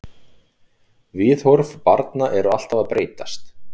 Viðhorf til barna eru alltaf að breytast.